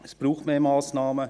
Es braucht mehr Massnahmen.